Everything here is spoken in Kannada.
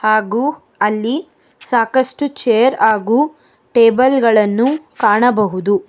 ಹಾಗು ಅಲ್ಲಿ ಸಾಕಷ್ಟು ಚೇರ್ ಹಾಗು ಟೇಬಲ್ ಗಳನ್ನು ಕಾಣಬಹುದು.